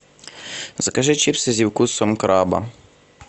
закажи чипсы со вкусом краба